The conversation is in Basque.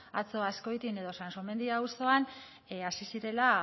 atzo azkoitian edo sansomendi auzoan hasi zirela